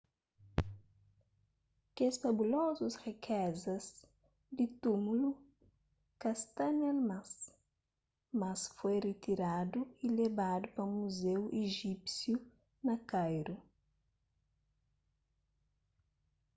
kes fabulozus riquezas di túmulu ka sta ne-l mas mas foi ritiradu y lebadu pa muzeu ijípsiu na kairu